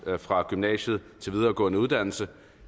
fra gymnasiet til videregående uddannelse